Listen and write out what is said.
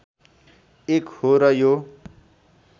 एक हो र यो